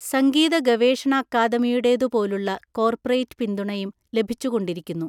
സംഗീതഗവേഷണഅക്കാദമിയുടേതുപോലുള്ള corporate പിന്തുണയും ലഭിച്ചുകൊണ്ടിരിക്കുന്നു.